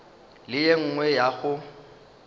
le ye nngwe ya go